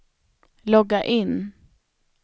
logga in